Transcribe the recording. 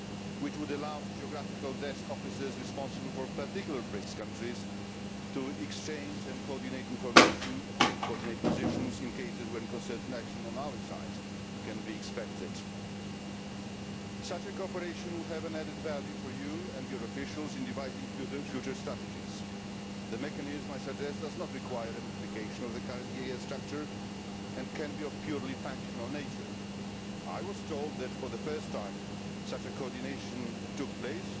EEAS which would allow geographical desk officers responsible for particular BRICS countries to exchange and coordinate information and positions in cases where concerted action on our side can be expected. Such cooperation would have added value for you and your officials in devising future strategies. The mechanism I suggest does not require a modification of the current EEAS structure and can be of a purely functional nature. I was told that the first time such coordination took